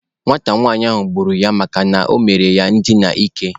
Nwata nwanyị ahụ gburu ya makana ọ mere ya ndina ike.